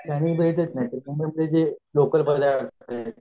मुंबईचेजे local पदार्थं